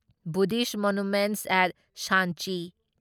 Buddhist monuments at Sanchi